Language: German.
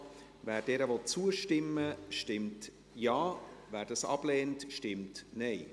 Wer dieser zustimmen will, stimmt Ja, wer diese ablehnt, stimmt Nein.